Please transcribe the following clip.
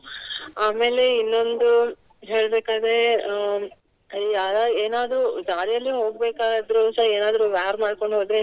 ಆಮೇಲೆ ಇನ್ನೊಂದು ಹೇಳ್ಬೆಕಾದ್ರೆ ಅಹ್ ಯಾರ ಏನಾದ್ರೂ ದಾರಿಯಲ್ಲಿ ಹೋಗ್ಬೇಕಾದ್ರು ಸಹ ಏನಾದ್ರೂ wear ಮಾಡ್ಕೊಂಡು ಹೋದ್ರೆ.